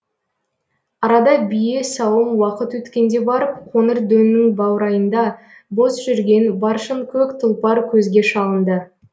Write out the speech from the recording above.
арада бие сауым уақыт өткенде барып қоңыр дөңнің баурайында бос жүрген баршынкөк тұлпар көзге шалынды